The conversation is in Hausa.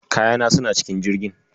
Kayana suna cikin Jirgin.